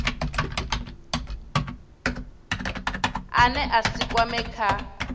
ane a si kwamee kha